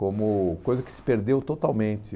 Como coisa que se perdeu totalmente.